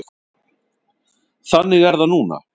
Þannig er það núna.